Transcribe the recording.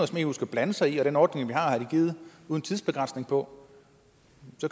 som eu skal blande sig i og den ordning vi har er givet uden tidsbegrænsning på